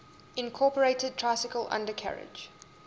incorporated tricycle undercarriage